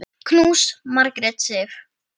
Knús, Margrét Sif.